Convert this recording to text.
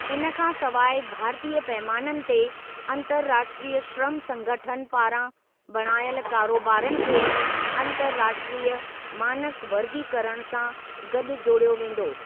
इन खां सवाइ भारतीय पैमाननि ते 'अन्तर्राष्ट्रीय श्रम संगठन' पारां बणायल कारोबारनि खे ‘अन्तर्राष्ट्रीय मानक वर्गीकरण' सां गॾु जोड़ियो वेंदो।